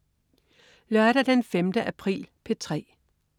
Lørdag den 5. april - P3: